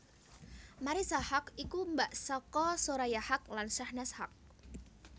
Marissa Haque iku mbak saka Soraya Haque lan Shahnaz Haque